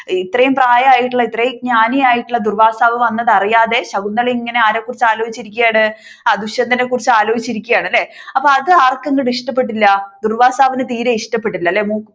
ഇത്രയും പ്രായം ആയിട്ടുള്ള ഇത്രയും ജ്ഞാനിയായിട്ടുളള ദുർവ്വാസാവ് വന്നത് അറിയാതെ ശകുന്തള ഇങ്ങനെ ആരെ കുറിച്ച് ആലോചിച്ചു ഇരിക്കുകയാണ് ദുഷ്യന്തനെ കുറിച്ച് ആലോചിച്ചു ഇരിക്കുക ആണല്ലേ അപ്പൊ അത് ആർക്ക് അങ് ഇഷ്ടപ്പെട്ടില്ല ദുർവ്വാസാവിന് തീരെ ഇഷ്ടപ്പെട്ടില്ല അല്ലെ